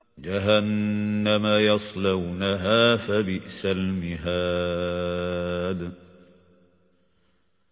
جَهَنَّمَ يَصْلَوْنَهَا فَبِئْسَ الْمِهَادُ